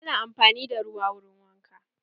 Ana amfani da ruwa wurin wanka.